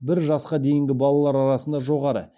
бір жасқа дейінгі балалар арасында жоғары